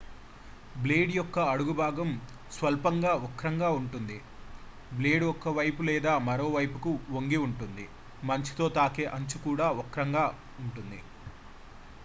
blade యొక్క అడుగు భాగం స్వల్పంగా వక్రంగా ఉంటుంది బ్లేడ్ ఒకవైపులేదా మరోవైపువైపుకు వంగిఉంటుంది మంచుతో తాకే అంచు కూడా వక్రంగా ఉంటుంది